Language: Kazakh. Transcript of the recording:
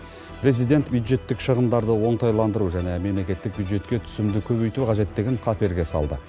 президент бюджеттік шығындарды оңтайландыру және мемлекеттік бюджетке түсімді көбейту қажеттігін қаперге салды